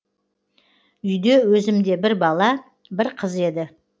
үйде өзімде бір бала бір қыз еді